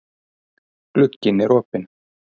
Glugginn er opinn.